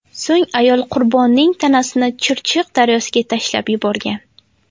So‘ng ayol qurbonning tanasini Chirchiq daryosiga tashlab yuborgan.